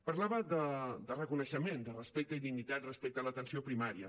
parlava de reconeixement de respecte i dignitat respecte a l’atenció primària